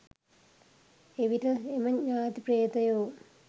එවිට එම ඤාති ප්‍රේතයෝ